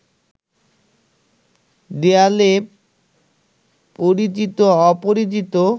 দেয়ালে পরিচিত-অপরিচিত